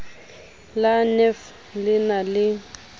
la nef le na le